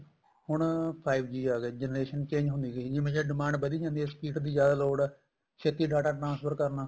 ਹੁਣ five G ਆ ਗਿਆ generation change ਹੁੰਦੀ ਗਈ ਜਿਵੇਂ ਜਿਵੇਂ demand ਵੱਧੀ ਜਾਂਦੀ ਏ speed ਦੀ ਜਿਆਦਾ ਲੋੜ ਏ ਛੇਤੀ data transfer ਕਰਨਾ